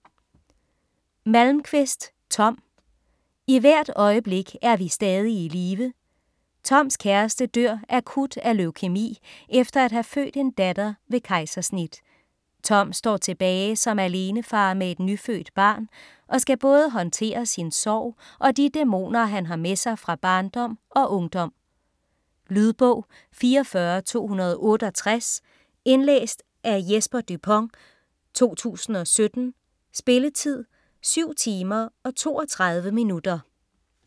Malmquist, Tom: I hvert øjeblik er vi stadig i live Toms kæreste dør akut af leukæmi efter at have født en datter ved kejsersnit. Tom står tilbage som alenefar med et nyfødt barn og skal både håndtere sin sorg og de dæmoner, han har med sig fra barndom og ungdom. Lydbog 44268 Indlæst af Jesper Dupont, 2017. Spilletid: 7 timer, 32 minutter.